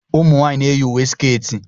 ụmụ nwanyị na-eyi uwe sketi